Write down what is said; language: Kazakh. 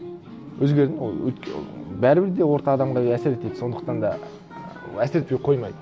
өзгердім ол ы бәрібір де орта адамға әсер етеді сондықтан да ііі әсер етпей қоймайды